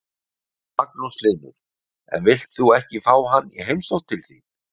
Magnús Hlynur: En villt þú ekki fá hann í heimsókn til þín?